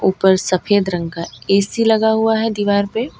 ऊपर सफेद रंग का ए_सी लगा हुआ है दीवार पे --